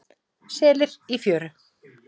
Selir í fjöru.